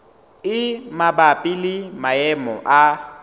e mabapi le maemo a